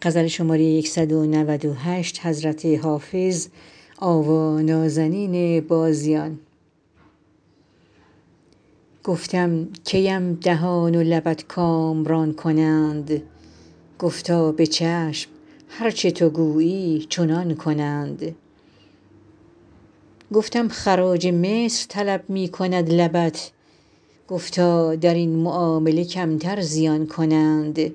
گفتم کی ام دهان و لبت کامران کنند گفتا به چشم هر چه تو گویی چنان کنند گفتم خراج مصر طلب می کند لبت گفتا در این معامله کمتر زیان کنند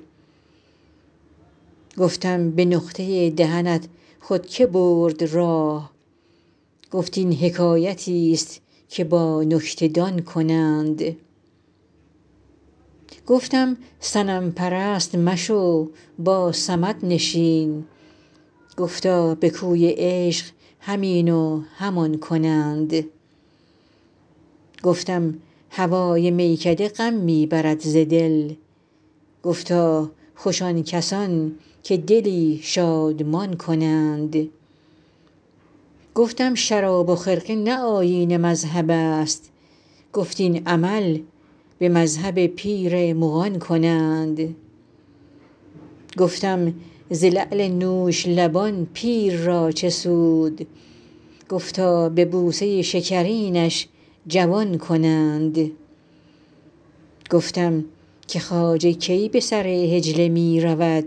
گفتم به نقطه دهنت خود که برد راه گفت این حکایتیست که با نکته دان کنند گفتم صنم پرست مشو با صمد نشین گفتا به کوی عشق هم این و هم آن کنند گفتم هوای میکده غم می برد ز دل گفتا خوش آن کسان که دلی شادمان کنند گفتم شراب و خرقه نه آیین مذهب است گفت این عمل به مذهب پیر مغان کنند گفتم ز لعل نوش لبان پیر را چه سود گفتا به بوسه شکرینش جوان کنند گفتم که خواجه کی به سر حجله می رود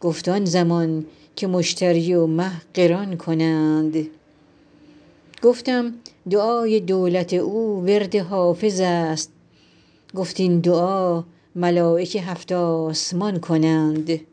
گفت آن زمان که مشتری و مه قران کنند گفتم دعای دولت او ورد حافظ است گفت این دعا ملایک هفت آسمان کنند